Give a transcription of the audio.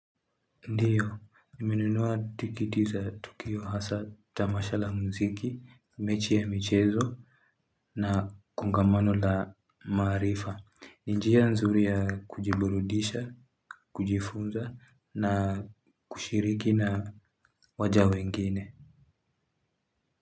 Ndiyo, nimenunua tiketi za tukio hasa tamasha la mziki, mechi ya michezo na kongamano la maarifa. Ni njia nzuri ya kujiburudisha, kujifunza na kushiriki na waja wengine.